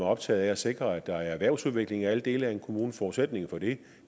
optaget af at sikre at der er erhvervsudvikling i alle dele af kommunen forudsætningen for det